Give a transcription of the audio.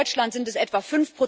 In Deutschland sind es etwa